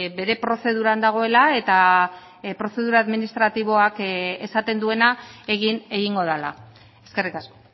bere prozeduran dagoela eta prozedura administratiboak esaten duena egin egingo dela eskerrik asko